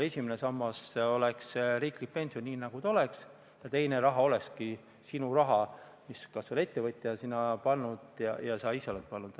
Esimene sammas oleks riiklik pension ja teine sammas olekski sinu raha, mille on ettevõtja sinna pannud ja sa ka ise oled pannud.